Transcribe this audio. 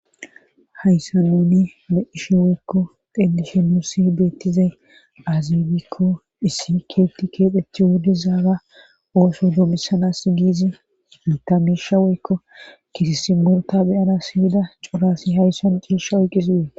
Hayssa nuni beishe woykko xedishinusi beettizay aazibikko hissi keetti keexechi wodezaaga ooso duomisanas giizi mitamisha woykko kisisi murta beyana siyida curasi hayssan ciisha oyqqisi wee